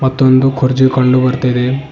ಒಂದು ಕುರ್ಜಿ ಕಂಡು ಬರ್ತಾ ಇದೆ.